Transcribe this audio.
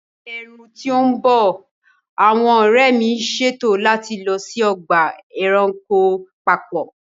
Ní ẹ̀ẹ̀rùn tí ń bọ̀, àwọn ọ̀rẹ́ mi ń ṣètò láti lọ sí ọgbà ẹranko papọ̀